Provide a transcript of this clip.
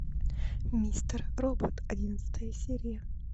мистер робот одиннадцатая серия